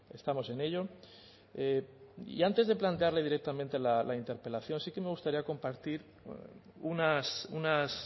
estamos en ello y antes de plantearle directamente la interpelación sí que me gustaría compartir unas